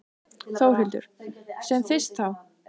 Þórhildur: Sem fyrst þá?